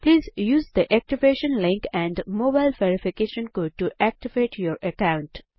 please use the activation link and mobile verification code to activate your account